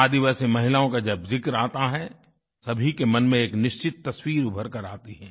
आदिवासी महिलाओं का जब ज़िक्र आता है तो सभी के मन में एक निश्चित तस्वीर उभर कर आती है